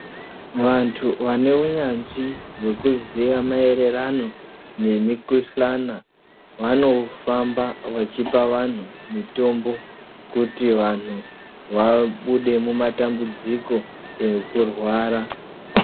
Vantu vane unanyanzvi hwekuziya maererano nemikhuhlana vano famba vachipa vantu mitombo kuti vantu vabude mumatambudziko ekurwara.